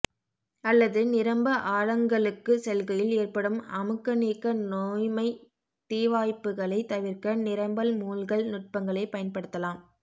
அல்லது நிரம்ப ஆழங்களுக்குச் செல்கையில் ஏற்படும் அமுக்கநீக்க நோய்மை தீவாய்ப்புகளைத் தவிர்க்க நிரம்பல் மூழ்கல் நுட்பங்களைப் பயன்படுத்தலாம்